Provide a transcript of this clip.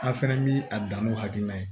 An fɛnɛ bi a dan n'u hakilina ye